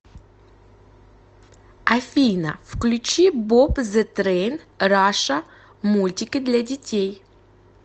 афина включи боб зэ трейн раша мультики для детей